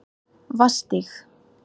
Vatnsstíg